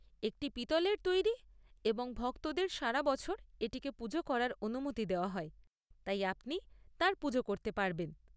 একটি পিতলের তৈরি এবং ভক্তদের সারা বছর এটিকে পূজা করার অনুমতি দেওয়া হয়, তাই আপনি তাঁর পূজা করতে পারবেন।